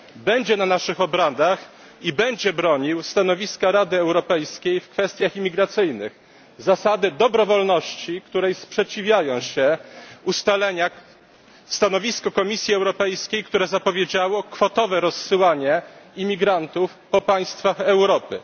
będzie na naszych obradach i będzie bronił stanowiska Rady Europejskiej w kwestiach imigracyjnych, zasady dobrowolności, której sprzeciwiają się ustalenia w stanowisku Komisji Europejskiej, które zapowiedziało kwotowe rozsyłanie imigrantów po państwach Europy.